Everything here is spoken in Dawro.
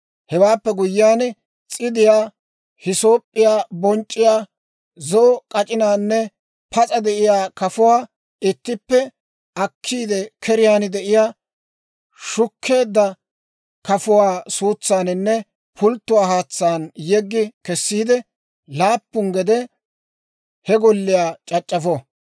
Hewaappe guyyiyaan s'idiyaa, hisoop'p'iyaa bonc'c'iyaa, zo'o k'ac'inaanne pas'a de'iyaa kafuwaa ittippe akkiide, keriyaan de'iyaa shukkeedda kafuwaa suutsaaninne pulttuwaa haatsaan yeggi kessiide, laappu gede he golliyaa c'ac'c'afo.